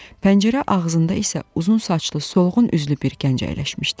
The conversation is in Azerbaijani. Pəncərə ağzında isə uzun saçlı, solğun üzlü bir gənc əyləşmişdi.